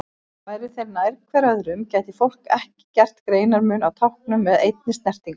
Væru þeir nær hver öðrum gæti fólk ekki gert greinarmun á táknunum með einni snertingu.